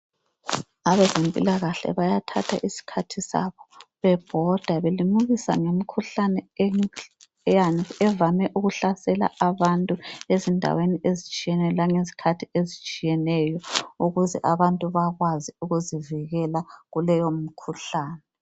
Abezempilakahle bayathatha isikhathi sabo bebhoda belimukisa ngemikhuhlane evame ukuhlasela abantu ezindaweni ezitshiyeneyo langezikhathi ezitshiyeneyo ukuze abantu bakwazi ukuzivikela kuleyo mikhuhlane.